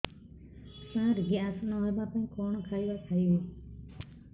ସାର gas ନ ହେବା ପାଇଁ କଣ ଖାଇବା ଖାଇବି